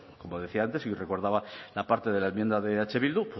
como decía antes y recordaba la parte de la enmienda de eh bildu